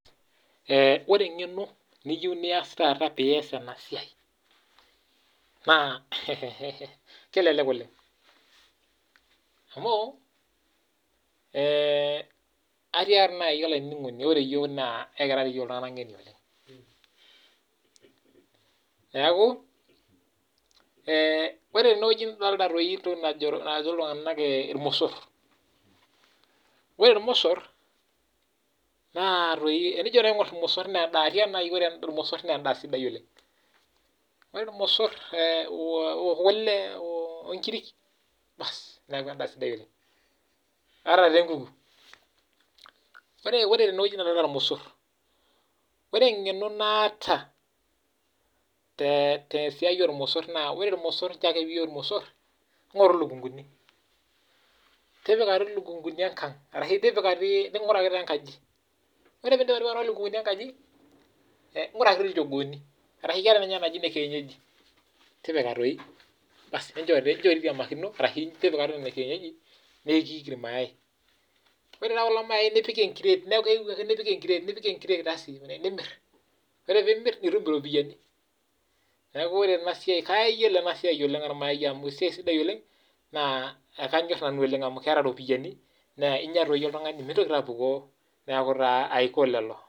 Ore eng'eno niyieu pee eyas ena siai naa kelelek oleng amu edolita irmosor ore irmosor naa tenijo aing'or irmosor naa endaa sidai oleng ore eng'eno nataa tesia ormosor naa ore ake pee eyieu irmosor engoru elukunguni tipika elukunguni enkag ashu enguraki doi enkaji ore pedip ainguraki enkaji enguraki ilchoogoni ashu keetae ninye ene kienyeji tipika doi nincho eitiamakino ore kulo mayai nipik enkiret neeku keyieu ake nipik enkiret aasi nimir ore pee emir nitum eropiani neeku ore ena siai kayiolo oleng amu esiai ormayai naa ekanyor oleng amu keeta eropiani naa enyia doi oltung'ani mintokii apukoo